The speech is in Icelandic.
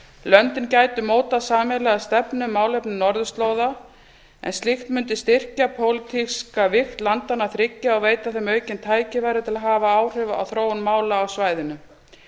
löndin gætu mótað sameiginlega stefnu um málefni norðurslóða en slíkt mundi styrkja pólitíska vigt landanna þriggja og veita þeim aukin tækifæri til að hafa áhrif á þróun mála á svæðinu